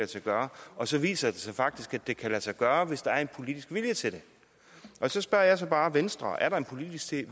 sig gøre og så viser det sig faktisk at det kan lade sig gøre hvis der er en politisk vilje til det så spørger jeg bare venstre er der en politisk